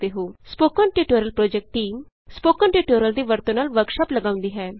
spoken tutorial project team spoken tutorial ਦੀ ਵਰਤੋਂ ਨਾਲ ਵਰਕਸ਼ਾਪ ਲਗਾਉਂਦੀ ਹੈ